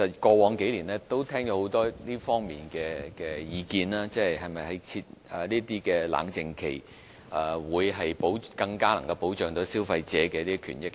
過往數年我聽過很多這方面的意見，討論設置冷靜期是否更能保障消費者的權益。